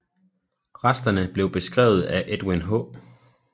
Resterne blev beskrevet af Edwin H